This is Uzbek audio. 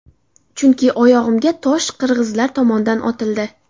Chunki oyog‘imga tosh qirg‘izlar tomondan otildi.